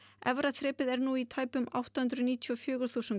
efra þrepið er nú í tæpum átta hundruð níutíu og fjögur þúsund